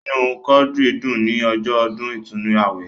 Inú Quadri dùn ní ọjọ́ ọdún ìtúnnu awẹ.